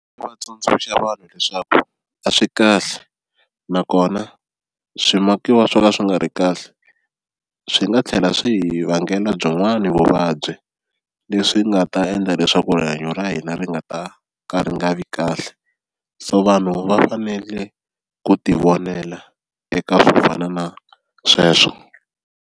Ndzi vatsundzuxa vanhu leswaku a swi kahle nakona swimakiwa swo ka swi nga ri kahle swi nga tlhela swi hi vangela byin'wani vuvabyi leswi nga ta endla leswaku rihanyo ra hina ri nga ta ka ri nga vi kahle, so vanhu va fanele ku ti vonela eka swo fana na sweswo.